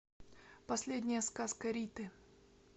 последняя сказка риты